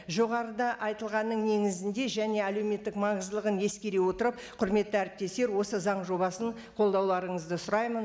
жоғарыда айтылғанның негізінде және әлеуметтік маңыздылығын ескере отырып құрметті әріптестер осы заң жобасын қолдауларыңызды сұраймын